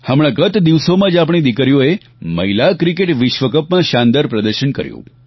હમણાં ગત દિવસોમાં જ આપણી દિકરીઓએ મહિલા ક્રિકેટ વિશ્વકપમાં શાનદાર પ્રદર્શન કર્યું